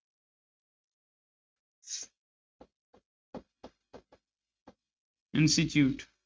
Institute